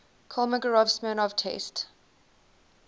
kolmogorov smirnov test